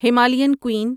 Himalayan قُین